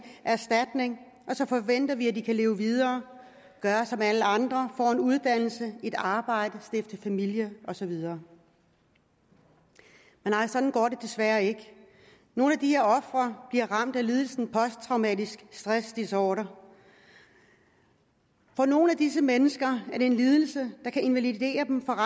erstatning og så forventer vi at de kan leve videre og gøre som alle andre få en uddannelse et arbejde stifte familie og så videre men nej sådan går det desværre ikke nogle af de her ofre bliver ramt af lidelsen posttraumatisk stress disorder for nogle af disse mennesker er det en lidelse der kan invalidere dem for